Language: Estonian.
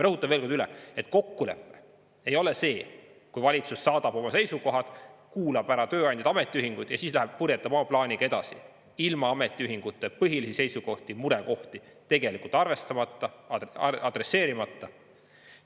Rõhutan veel kord üle, et kokkulepe ei ole see, kui valitsus saadab oma seisukohad, kuulab ära tööandjad ja ametiühingud ning siis läheb purjetab oma plaaniga edasi, ilma ametiühingute põhilisi seisukohti ja murekohti tegelikult arvestamata, adresseerimata.